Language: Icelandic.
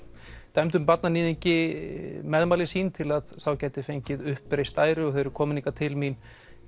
dæmdum barnaníðingi meðmæli sín til að sá gæti fengið uppreist æru þau eru komin hingað til mín